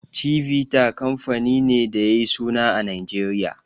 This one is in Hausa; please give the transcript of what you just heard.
Chivita kamfani ne da yayi suna a Nijeriya.